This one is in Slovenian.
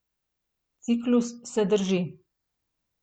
Ciklus se drži.